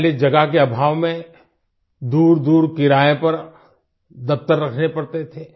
पहले जगह के आभाव में दूरदूर किराये पर दफ्तर रखने पड़ते थे